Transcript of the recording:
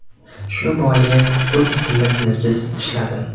Shu bois, o‘z ustimda tinimsiz ishladim.